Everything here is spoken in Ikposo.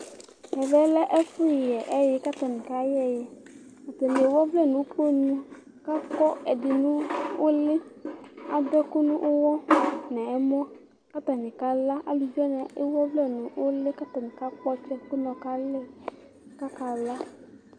Ɛvɛ lɛ ɛfʊ yɛ ɛyɩ katanɩ kayɛ eyɩ Atanɩ ewʊ ovlɛ nʊkponʊ, kakɔ ɔvlɛ nulɩ, adʊ ɛkʊ nʊyɔ nɛmɔ katanɩ akala Alʊvɩ wanɩ ewʊ ɔvlɛ nʊlɩ, kakakpɔtsɛ kʊnɔ kalɩ kakala